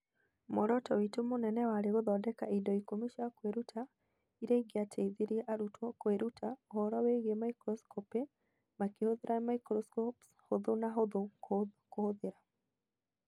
Mũoroto witũ mũnene warĩ gũthondeka indo ikũmi cia kwĩruta iria ingĩateithirie arutwo kwĩruta ũhoro wĩgiĩ microscopy makĩhũthĩra microscopes hũthũ na hũthũ kũhũthĩra.